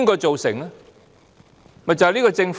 就是這個政府。